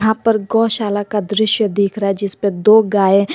यहां पर गौशाला का दृश्य देख रहा है जिसपे दो गाय--